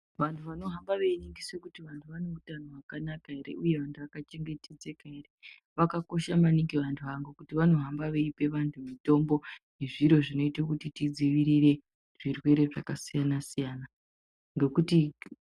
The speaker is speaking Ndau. Vanhu vanohamba veiningise kuti vanhu vane utano hwakanaka ere uye vanhu vakachengetedzeka ere vakakosha maningi vanhu ava ngekuti vanohambe veipe vanhu mitombo yezviro zvinoite kuti tidzivirire zvirwere zvakasiyanasiyana.